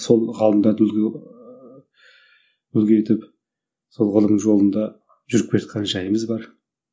сол ғалымдарды үлгі ііі үлгі етіп сол ғылым жолында жүріп келе жатқан жайымыз бар